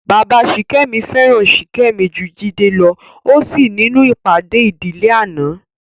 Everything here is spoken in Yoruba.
Bàbá Sìkẹ́mi fẹ́ràn Ṣìkẹ́mi ju Jídé lọ ó sì nínú ìpàdé ìdíléàná